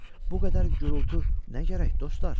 Bu qədər gurultu nə gərək, dostlar?